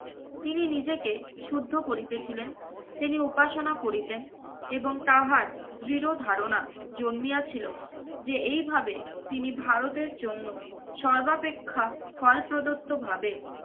তিনি নিজেকে শুদ্ধ করিতেছিলেন। তিনি উপাসনা করিতেন এবং তাহার দৃঢ় ধারণা জন্মিয়াছিলো যে এইভাবে তিনি ভারতের জন্য সর্বাপেক্ষা ফল প্রদত্ত ভাবে